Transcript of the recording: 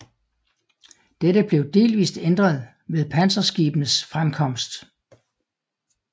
Dette blev delvist ændret ved panserskibenes fremkomst